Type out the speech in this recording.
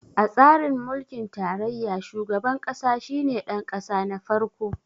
A tsarin mulkin tarayya, shugaban ƙasa shi ne ɗanƙasa na farko.